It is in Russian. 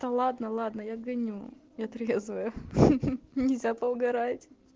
да ладно-ладно я гоню я трезвая ха-ха нельзя поугорать